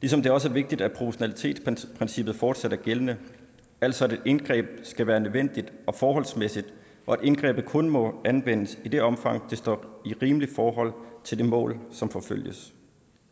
ligesom det også er vigtigt at proportionalitetsprincippet fortsat er gældende altså at et indgreb skal være nødvendigt og forholdsmæssigt og at indgrebet kun må anvendes i det omfang det står i et rimeligt forhold til det mål som forfølges